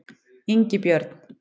Ingibjörn